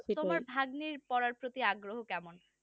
তোমার ভাগ্নির পড়ার প্রতি আগ্রহ কেমন